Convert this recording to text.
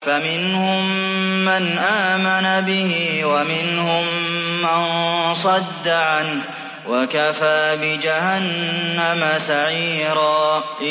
فَمِنْهُم مَّنْ آمَنَ بِهِ وَمِنْهُم مَّن صَدَّ عَنْهُ ۚ وَكَفَىٰ بِجَهَنَّمَ سَعِيرًا